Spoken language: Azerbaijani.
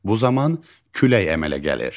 Bu zaman külək əmələ gəlir.